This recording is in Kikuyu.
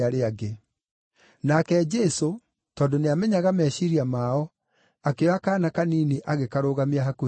Nake Jesũ, tondũ nĩamenyaga meciiria mao, akĩoya kaana kanini agĩkarũgamia hakuhĩ nake.